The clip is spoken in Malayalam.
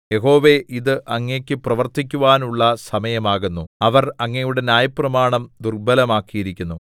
യഹോവേ ഇത് അങ്ങേക്കു പ്രവർത്തിക്കുവാനുള്ള സമയമാകുന്നു അവർ അങ്ങയുടെ ന്യായപ്രമാണം ദുർബ്ബലമാക്കിയിരിക്കുന്നു